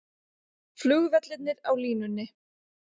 Flugvellirnir á línunni